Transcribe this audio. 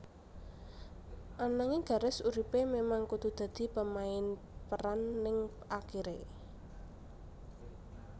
Ananging garis uripé memang kudu dadi pemain peran ning akiré